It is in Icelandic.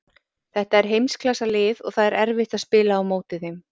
Þetta er heimsklassa lið og það er erfitt að spila á móti þeim.